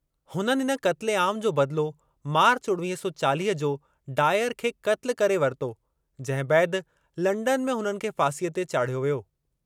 हुननि इन क़त्ले आम जो बदलो मार्च उणिवीह सौ चालीह ओ डायर खे क़त्ल करे वरितो जंहिं बैदि लंडन में हुननि खे फासीअ ते चाढ़ियो वियो।